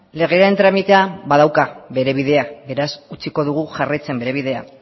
legeen tramitea badauka bere bidea beraz utziko dugu jarraitzen bere bidea